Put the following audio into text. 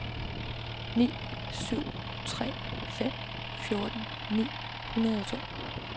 ni syv tre fem fjorten ni hundrede og to